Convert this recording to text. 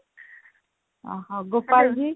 ଓଃହୋ ଗୋପାଳ